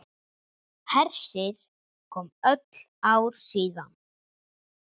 Hersir: Komið öll ár síðan?